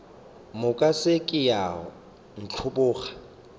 moka se ke wa ntlhoboga